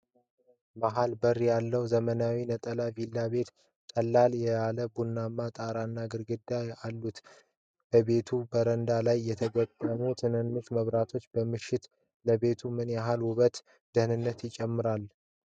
በመሃል በር ያለው ዘመናዊ ነጠላ ቪላ ቤት፣ ቀለል ያለ ቡናማ ጣራና ግድግዳዎች አሉት። በቤቱ በረንዳ ላይ የተገጠሙት ትናንሽ መብራቶች በምሽት ለቤቱ ምን ያህል ውበትና ደህንነት ይጨምራሉ?